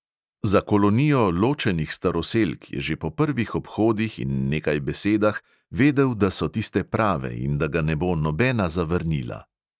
Za kolonijo ločenih staroselk je že po prvih obhodih in nekaj besedah vedel, da so tiste prave in da ga ne bo nobena zavrnila.